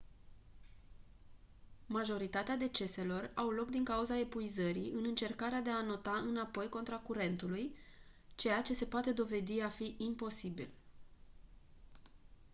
majoritatea deceselor au loc din cauza epuizării în încercarea de a înota înapoi contra curentului ceea ce se poate dovedi a fi imposibil